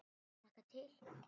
Ég hlakka til.